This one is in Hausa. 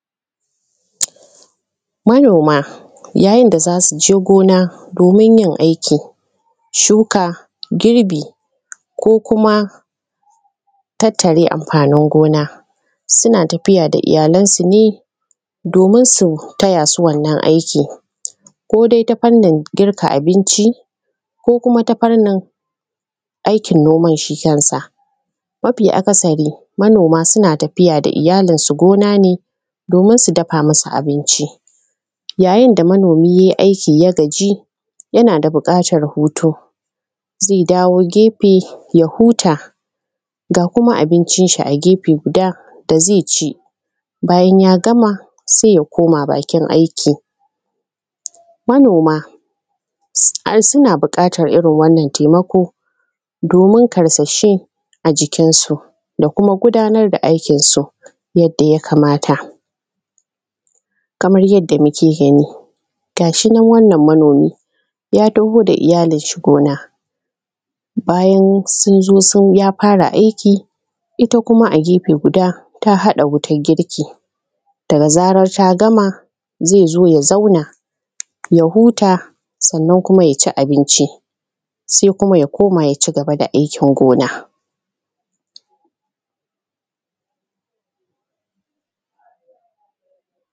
manoma, yayin da za su je noma gona domin yin aikin shuka, girbi ko kuma tattare amfanin gona, suna tafiya da iyalansu ne domin su taya su wannan aikin, ko dai ta fannin girka abinci ko kuma ta fannin aikin gonan shi kansa. Mafi akasari manoma suna tafiya da iyalansu gona ne domin su dafa musu abinci, yayin da manomi yai aikin ya gaji yana da buƙatar hutu, ze dawo gefe ya huta, ga kuma abincin shi a gefe guda da ze ci bayan ya gama se ya koma bakin aikin. manoma sa suna buƙatan irin wannan taimako domin ƙarsashi a jikin su da kuma gudanar da aikin su yanda ya kamata kamar yanda muke gani gashi nan, wannan manomi ya taho da iyalin shi gona, bayan sun zo sun ya fara aikin ita kuma a gefe guda ta haɗa wutan girki da zarar ta gama ze zo ya zauna ya huta, sannan kuma ya ci abinci, se kuma ya koma ya ci gaba da aikin gona.